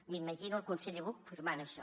m’imagino el conseller buch firmant això